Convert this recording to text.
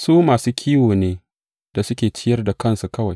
Su masu kiwo ne da suke ciyar da kansu kawai.